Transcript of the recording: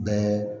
Bɛɛ